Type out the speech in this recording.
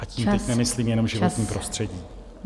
A tím teď nemyslím jenom životní prostředí.